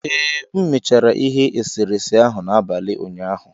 Ee, M mechara ihe eserese ahụ n'abalị ụnyaahụ.